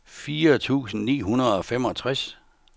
fire tusind ni hundrede og femogtres